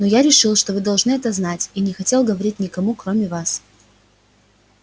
но я решил что вы должны это знать и не хотел говорить никому кроме вас